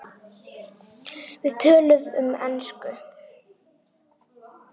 Við töluðum ensku.